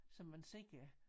Som man ser